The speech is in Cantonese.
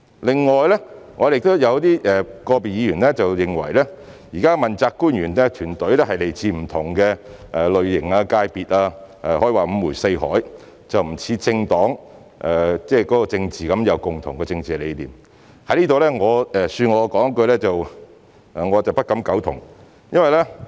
另外，有個別議員認為現時的問責官員團隊來自不同類型、界別，可以說是五湖四海，與政黨成員有共同政治理念不同，恕我在此說我不敢苟同。